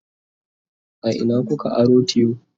a Ina kuka aro tiyo?